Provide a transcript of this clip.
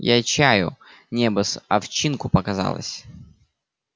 я чаю небо с овчинку показалось